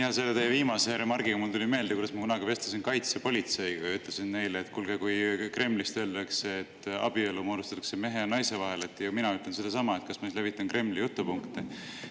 Jaa, selle teie viimase remargi peale mul tuli meelde, kuidas ma kunagi vestlesin kaitsepolitseiga ja ütlesin neile, et kuulge, kui Kremlist öeldakse, et abielu moodustatakse mehe ja naise vahel, ja mina ütlen sedasama, kas ma siis levitan Kremli jutupunkte.